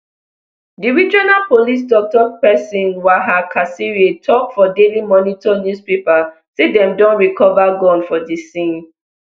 di regional police toktok pesin twaha kasirye tok for daily monitor newspaper say dem don recova gun for di scene